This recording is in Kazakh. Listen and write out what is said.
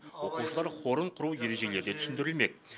оқушылар хорын құру ережелері де түсіндірілмек